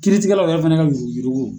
Kiritigɛlaw yɛrɛ fana ka yuruguyurugu